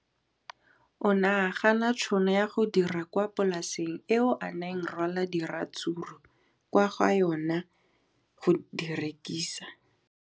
O ne a gana tšhono ya go dira kwa polaseng eo a neng rwala diratsuru kwa go yona go di rekisa.